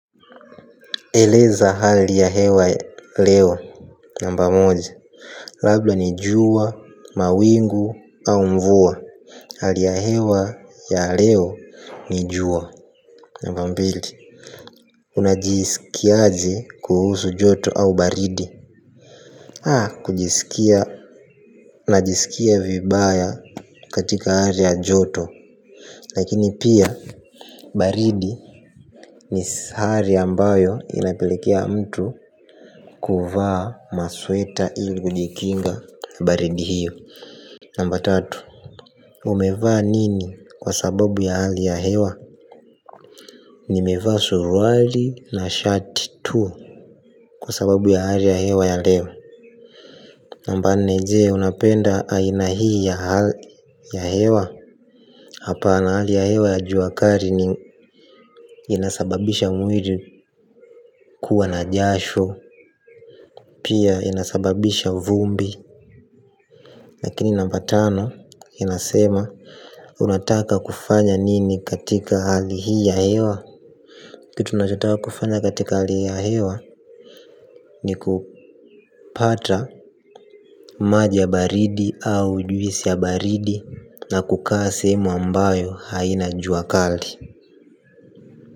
Eleza hali ya hewa hewa. Namba moja Labla nijua, mawingu au mvua. Hali ya hewa ya leo nijua. Namba mbili. Unajisikiaje kuhusu joto au baridi. Haa kujisikia. Unajisikia vibaya katika hali ya joto. Lakini pia baridi ni sari ambayo inapelekea mtu kuvaa masweta ili kujikinga baridi hiyo. Namba tatu. Umevaa nini kwa sababu ya hali ya hewa. Ni mevaa suruali na shati tu. Kwa sababu ya hali ya hewa ya leo. Namba nne je unapenda aina hii ya hali ya hewa. Hapa na hali ya hewa ya juakari. Ni inasababisha mwiri kuwa na jasho. Pia inasababisha vumbi lakini namba tano inasema unataka kufanya nini katika hali hii ya hewa. Kitu nachotaka kufanya katika hali hii ya hewa ni kupata maji ya baridi au juisi ya baridi na kukaa sehemu ambayo haina juakali.